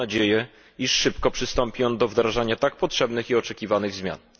Mam nadzieję, że szybko przystąpi on do wdrażania tak potrzebnych i oczekiwanych zmian.